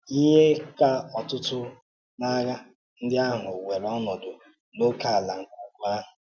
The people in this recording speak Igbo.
Ihe ka ọtụtụ n’ághà ndị ahụ wéèrè ọnọdụ n’ókèala nke ukwu ahụ.